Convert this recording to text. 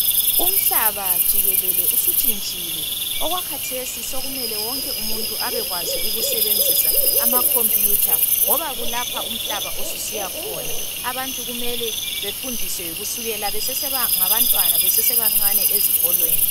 Umhlaba jikelele usutshintshile, okwakhathesi sekumele wonke umuntu abekwazi ukusebenzisa amakhompuyutha. Ngoba kulapho umhlaba osusiya khona. Abantu kumele befundiswe kusukela besesengabantwana besesebancane esikolweni.